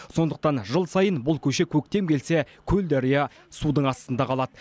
сондықтан жыл сайын бұл көше көктем келсе көлдария судың астында қалады